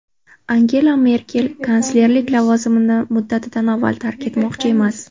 Angela Merkel kanslerlik lavozimini muddatdan avval tark etmoqchi emas.